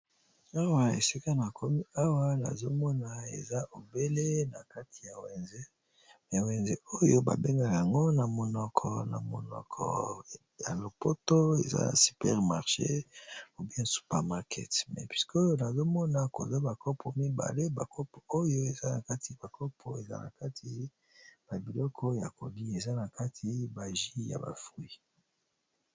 Awa esika nakomi awa eza na wenze babengi yango na monoko ya lopoto supermarché namoni ba kopo mibale eza nakati jus de fruits.